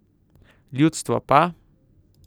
Ljudstvo pa?